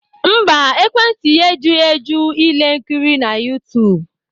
Mba, ekwentị ya ejughị eju ile nkiri na YouTube